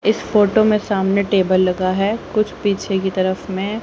इस फोटो में सामने टेबल लगा है कुछ पीछे की तरफ में--